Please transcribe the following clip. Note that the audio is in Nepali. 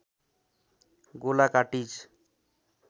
गोला कार्टिज